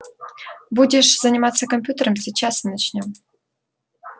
будешь заниматься компьютером сейчас начнём